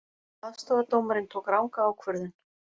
Aðstoðardómarinn tók ranga ákvörðun